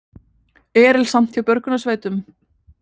Erilsamt hjá björgunarsveitum